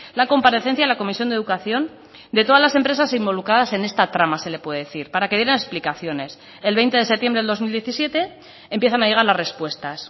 la comparecencia en la comisión de educación de todas las empresas involucradas en esta trama se le puede decir para que dieran explicaciones el veinte de septiembre del dos mil diecisiete empiezan a llegar las respuestas